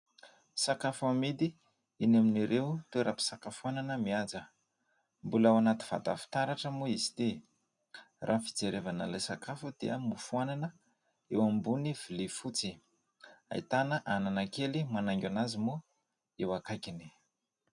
Sakafo amidy eny amin'ireo toeram-pisakafoanana mihaja, mbola ao anaty vata fitaratra moa izy ity, raha ny fijerevana ilay sakafo dia mofo anana eo ambony vilia fotsy, ahitana anana kely manaingo anazy moa eo ankaikiny.